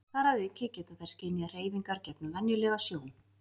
Þar að auki geta þær skynjað hreyfingar gegnum venjulega sjón.